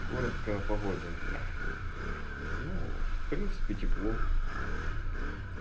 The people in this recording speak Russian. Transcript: коротко о погоде ну в принципе тепло